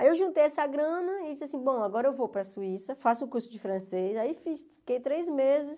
Aí eu juntei essa grana e disse assim, bom, agora eu vou para a Suíça, faço o curso de francês, aí fiquei três meses.